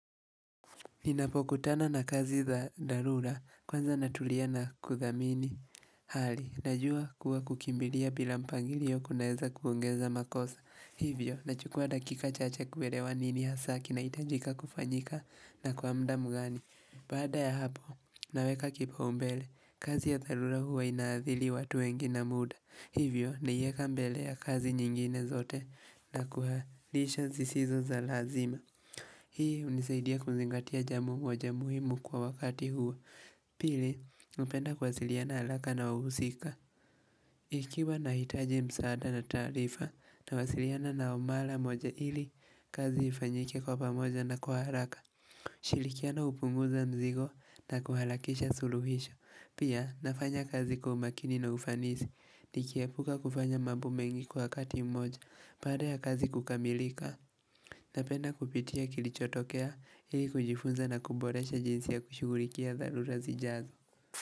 Ninapokutana na kazi za dharura, kwanza natulia na kudhamini hali, najua kuwa kukimbilia bila mpangilio kunaeza kuongeza makosa. Hivyo, nachukua dakika chache kuelewa nini ya hasaa kinahitajika kufanyika na kwa mda mgani. Bada ya hapo, naweka kipaumbele, kazi ya dharura huwa inaathiri watu wengi na muda. Hivyo, naieka mbele ya kazi nyingine zote na kuhairisha zisizo za lazima. Hii unisaidia kuzingatia jambo moja muhimu kwa wakati huu Pili, napenda kuwasiliana haraka na wahusika Ikiwa nahitaji msaada na tarifa nawasiliana nao mara moja ili kazi ifanyike kwa pamoja na kwa haraka kushirikiana upunguza mzigo na kuharakisha suluhisho Pia, nafanya kazi kwa umakini na ufanisi Nikiepuka kufanya mambo mengi kwa wakati mmoja Bada ya kazi kukamilika Napenda kupitia kilichotokea ili kujifunza na kuboresha jinsi ya kushugulikia dharura zijazo.